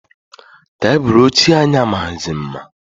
Tebulu ochie anyị amaghịzi mma.